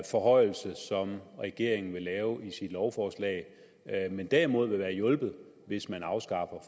forhøjelse som regeringen vil lave i sit lovforslag men derimod ville være hjulpet hvis man afskaffer